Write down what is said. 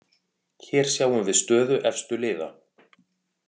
Hér sjáum við stöðu efstu liða.